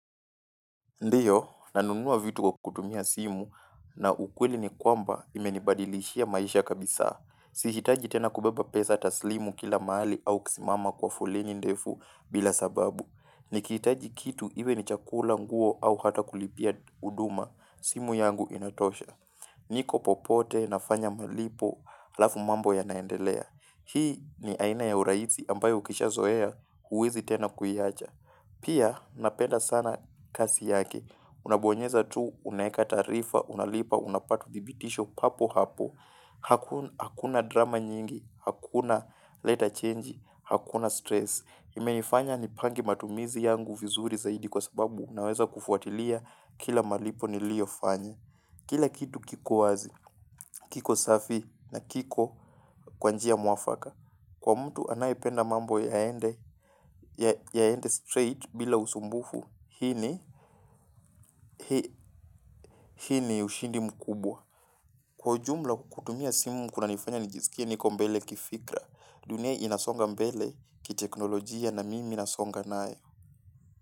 Ndiyo, nanunua vitu kwa kutumia simu na ukweli ni kwamba imenibadilishia maisha kabisa. Sihitaji tena kubeba pesa taslimu kila mahali au kisimama kwa foleni ndefu bila sababu. Nikihitaji kitu iwe ni chakula nguo au hata kulipia uduma, simu yangu inatosha. Niko popote nafanya malipo alafu mambo yana endelea. Hii ni aina ya uraisi ambayo ukisha zoea huwezi tena kuiacha. Pia, napenda sana kasi yake. Unabonyeza tu, unaeka taarifa, unalipa, unapata dhibitisho papo hapo. Haku hakuna drama nyingi, hakuna leta chenji, hakuna stress. Imeifanya nipange matumizi yangu vizuri zaidi kwa sababu naweza kufuatilia kila malipo nilio fanya. Kila kitu kiko wazi, kiko safi na kiko kwa njia mwafaka, kwa mtu anayependa mambo yaende yaende straight bila usumbufu, hii ni ushindi mkubwa. Kwa ujumla kutumia simu kuna nifanya nijisikie niko mbele kifikra, dunia inasonga mbele kiteknolojia na mimi nasonga nayo.